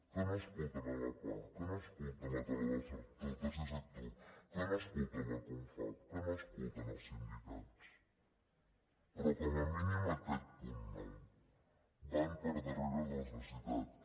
que no escolten la pah que no escolten la taula del tercer sector que no escolten la confavc que no escolten els sindicats però com a mínim aquest punt nou van per darrere de les necessitats